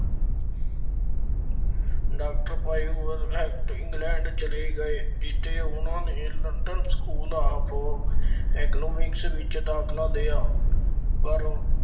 Doctor ਭਾਈ England ਚਲੇ ਗਏ, ਜਿੱਥੇ ਉਹਨਾ ਨੇ London school of Economics ਵਿੱਚ ਦਾਖਲਾ ਲਿਆ।